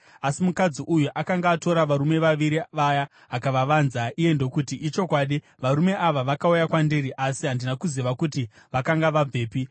Asi mukadzi uyu akanga atora varume vaviri vaya akavavanza. Iye ndokuti, “Ichokwadi, varume ava vakauya kwandiri, asi handina kuziva kuti vakanga vabvepi.